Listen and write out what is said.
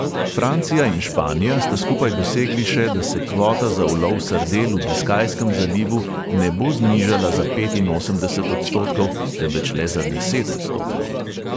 Francija in španija sta skupaj dosegli še, da se kvota za ulov sardel v biskajskem zalivu ne bo znižala za petinosemdeset odstotkov, temveč le za deset odstotkov.